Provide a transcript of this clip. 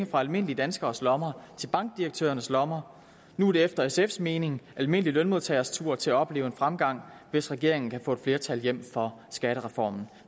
fra almindelige danskeres lommer til bankdirektørernes lommer nu er det efter sfs mening almindelige lønmodtagere tur til at opleve en fremgang hvis regeringen kan få et flertal hjem for skattereformen